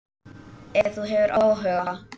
Ef þú hefur áhuga.